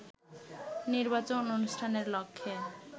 নির্বাচন অনুষ্ঠানের লক্ষ্যে